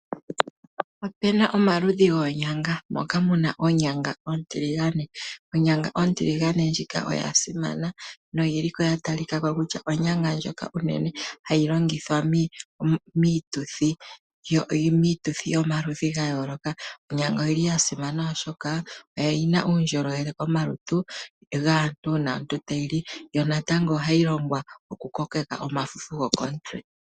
Otu na omaludhi ogendji goonyanga, nomomaludhi moka otu na mo oonyanga oontiligane. Onyanga ontiligane oyi li ya simana noya pumba, noyi li wo hayi longithwa miituthi yomaludhi ga yooloka. Oya simana wo oshoka ohayi etele omuntu uundjolowele, yo ishewe ohayi longithwa mokukokeka omafufu gokomutse.